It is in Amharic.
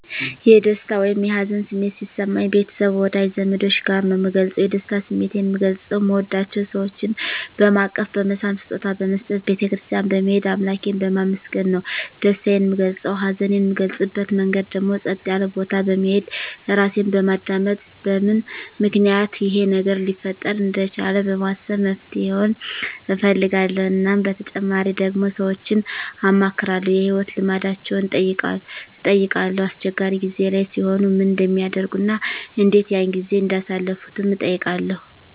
የደስታ ወይም የሀዘን ስሜት ሲሰማኝ ቤተሰብ ወዳጅ ዘመዶቸ ጋር ነዉ ምገልፀዉ የደስታ ስሜቴን ምገልፀዉ ምወዳቸዉ ሰወችን በማቀፍ በመሳም ስጦታ በመስጠት ቤተ ክርስትያን በመሄድ አምላኬን በማመስገን ነዉ ደስታየን ምገልፀዉ ሀዘኔን ምገልፅበት መንገድ ደግሞ ፀጥ ያለ ቦታ በመሄድ ራሴን በማዳመጥ በምን ምክንያት ይሄ ነገር ሊፈጠር እንደቻለ በማሰብ መፍትሄዉን እፈልጋለዉ እናም በተጨማሪ ደግሞ ሰወችን አማክራለዉ የህይወት ልምዳቸዉን እጠይቃለዉ አስቸጋሪ ጊዜ ላይ ሲሆኑ ምን እንደሚያደርጉ እና እንዴት ያን ጊዜ እንዳሳለፉትም እጠይቃለዉ